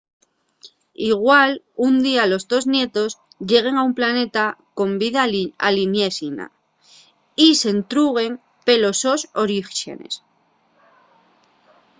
igual un día los tos nietos lleguen a un planeta con vida alieníxena y s'entruguen pelos sos oríxenes